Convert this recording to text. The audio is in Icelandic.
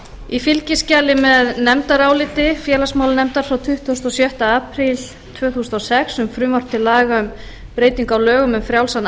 í fylgiskjali með nefndaráliti félagsmálanefndar frá tuttugasta og sjötta apríl tvö þúsund og sex um frumvarp til laga um breytingu á lögum um frjálsan